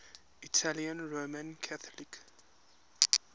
italian roman catholic